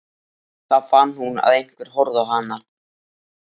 Það eru þung í henni augun.